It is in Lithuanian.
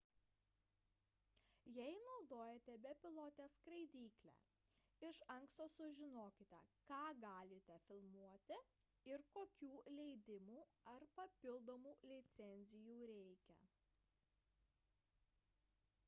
jei naudojate bepilotę skraidyklę iš anksto sužinokite ką galite filmuoti ir kokių leidimų ar papildomų licencijų reikia